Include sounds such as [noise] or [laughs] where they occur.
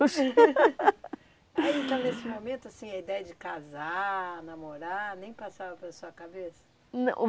[laughs] Ah, então, nesse momento, assim, a ideia de casar, namorar, nem passava pela sua cabeça? Não